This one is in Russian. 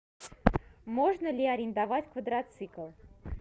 можно ли арендовать квадроцикл